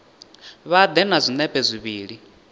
vha ḓe na zwinepe zwivhili